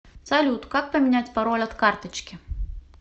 салют как поменять пароль от карточки